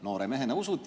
Noore mehena usud.